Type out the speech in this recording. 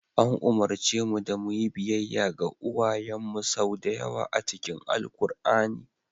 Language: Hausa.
An umarce mu da mu yi biyayya ga uwayenmu sau da yawa a cikin Alkur'ani.